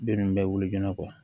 Den nunnu bɛ wuli joona